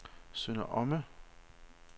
Sønder Omme